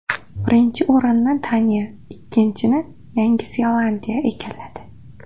Birinchi o‘rinni Daniya, ikkinchini Yandi Zelandiya egalladi.